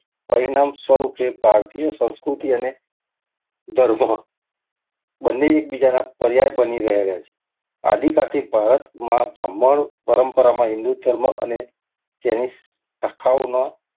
પરિણામ સ્વરૂપે ભારતીય સંસ્કૃતિ ને ધર્મ બંને એકબીજાના પર્યાય બની રહેલા છે. હાદીકાળથી ભારતમાં બ્રાહ્મણ પરંપરામાં હિન્દુ ધર્મ અને એની શાખાઓના,